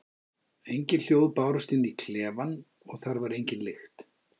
Engin hljóð bárust inn í klefann og þar var engin lykt.